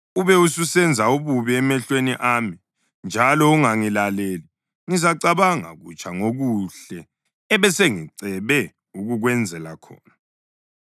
ube ususenza ububi emehlweni ami njalo ungangilaleli, ngizacabanga kutsha ngokuhle ebesengicebe ukukwenzela khona.